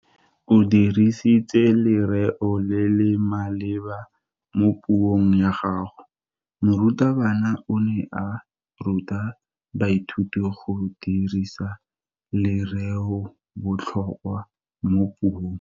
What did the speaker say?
O dirisitse lereo le le maleba mo puong ya gagwe. Morutabana o ne a ruta baithuti go dirisa lereobotlhokwa mo puong.